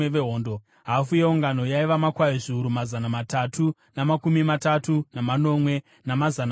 hafu yeungano yaiva makwai zviuru mazana matatu namakumi matatu namanomwe, namazana mashanu,